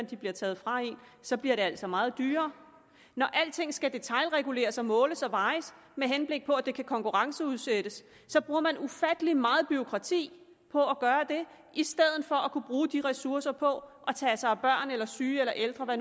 de bliver taget fra en så bliver det altså meget dyrere når alting skal detailreguleres og måles og vejes med henblik på at det kan konkurrenceudsættes så bruger man ufattelig meget bureaukrati på at gøre det i stedet for kunne bruge de ressourcer på at tage sig af børn eller syge eller ældre